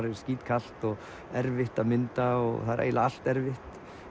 er skítkalt og erfitt að mynda og eiginlega allt erfitt